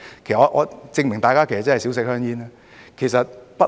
這證明大家真的少吸食香煙。